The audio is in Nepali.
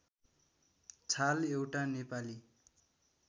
छाल एउटा नेपाली